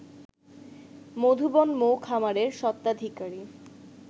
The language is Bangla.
মধুবন মৌ খামারের সত্ত্বাধিকারী